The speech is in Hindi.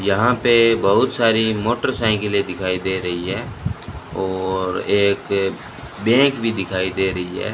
यहां पे बहुत सारी मोटरसाइकिले दिखाई दे रही है और एक बैंक भी दिखाई दे रही है।